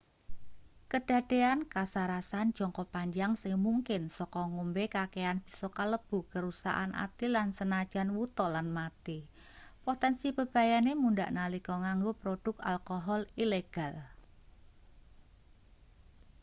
kedadean kasarasan jangka panjang sing mungkin saka ngombe kakean bisa kalebu kerusakan ati lan senajan wuta lan mati potensi bebayane mundhak nalika nganggo produk alkohol ilegal